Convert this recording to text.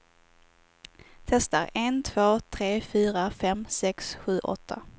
Testar en två tre fyra fem sex sju åtta.